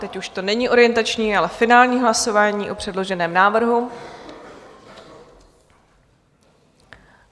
Teď už to není orientační, ale finální hlasování o předloženém návrhu.